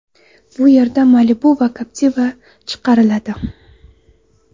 Bu yerda Malibu va Captiva chiqariladi.